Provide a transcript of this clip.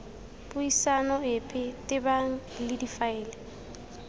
puisano epe tebang le difaele